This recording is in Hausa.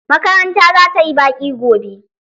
Makaranta za ta yi baƙi gobe.